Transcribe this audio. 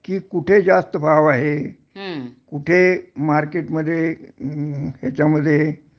कि कुठे जास्त भाव आहे कुठे मार्केटमध्ये हेच्यामध्ये